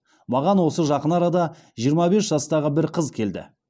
маған осы жақын арада жиырма бес жастағы бір қыз келді